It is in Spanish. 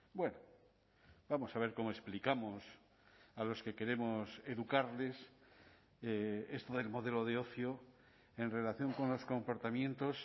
bueno vamos a ver cómo explicamos a los que queremos educarles esto del modelo de ocio en relación con los comportamientos